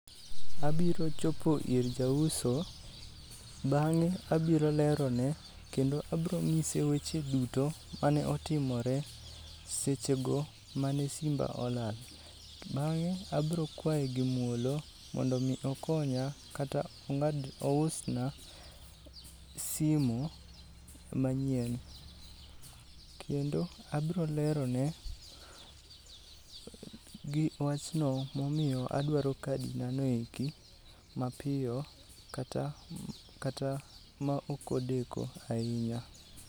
Abiro chopo ir jauso bang'e abiro lerono, kendo abro ng'ise weche duto mane otimore seche go mane simba olal. Bang'e abrokwaye gi muolo mondo mi okonya kata ousan simu manyien. Kendo abrolerone wachno momiyo adwaro kadi na noeki mapiyo kata, kata ma okodeko ahinya.